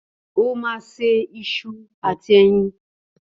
Ó ma isu àti eyin.